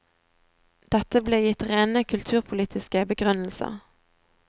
Dette ble gitt rene kulturpolitiske begrunnelser.